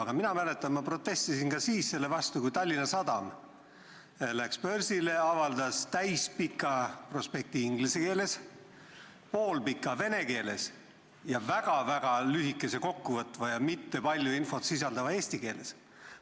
Aga mina mäletan, et ma protestisin ka siis selle vastu, et kui Tallinna Sadam läks börsile, siis ta avaldas täispika prospekti inglise keeles, poolpika vene keeles ja väga-väga lühikese, kokkuvõtva ja mitte palju infot sisaldava eesti keeles.